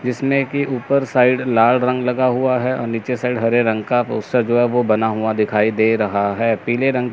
जीसमें की ऊपर साइड लाल रंग लगा हुआ है और नीचे साइड हरे रंग का तो उसका जो वो बना हुआ दिखाई दे रहा है पीले रंग--